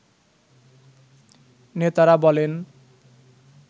নেতারা বলেন